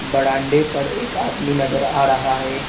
बरामदे पर एक आदमी नजर आ रहा है।